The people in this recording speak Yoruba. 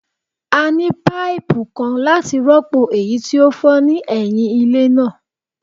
A ni paipu kan lati rọpo eyi ti o fọ ni ẹhin ile naa